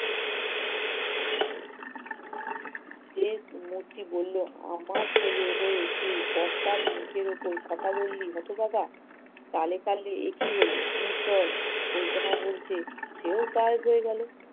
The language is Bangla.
যেই মূর্তি বললো আমার ছেলে হয়ে তুই কর্তার মুখের ওপর কথা বললি হতভাগা, তালে তালে একি হলো! নে চল বলতে না বলতে সেও গায়েব হয়ে গেল